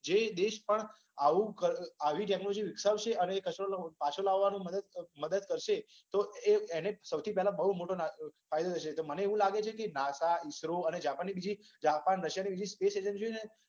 જે દેશ પણ આવુ આવી ટેક્નોલોજી વિકસાવશે. અને આવો કચરો પાછો લાવવામાં મદદ કરશે તો એને સૌથી પહેલા બઉ મોટો ફાયદો થશે. તો મને એવુ લાગે છે કે, નાસા ઈસરો અને જાપાનની બીજી જાપાનની રશીયાની બીજી સ્પેસ એજન્સી